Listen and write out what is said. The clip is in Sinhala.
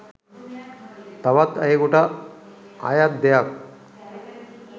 තවත් අයකුට අයත් දෙයක්